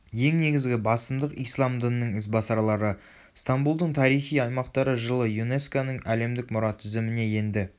ең негізгі басымдық ислам дінінің ізбасарлары.стамбулдың тарихи аймақтары жылы юнеско-ның әлемдік мұра тізіміне енді